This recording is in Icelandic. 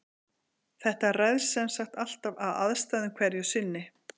Þetta ræðst semsagt allt af aðstæðum hverju sinni.